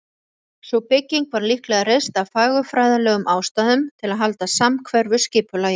Sú bygging var líklega reist af fagurfræðilegum ástæðum, til að halda samhverfu skipulagi.